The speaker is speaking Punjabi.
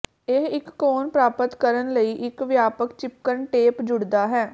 ਇਹ ਇੱਕ ਕੋਨ ਪ੍ਰਾਪਤ ਕਰਨ ਲਈ ਇੱਕ ਵਿਆਪਕ ਿਚਪਕਣ ਟੇਪ ਜੁੜਦਾ ਹੈ